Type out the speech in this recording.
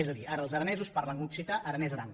és a dir ara els aranesos parlen occità aranès aran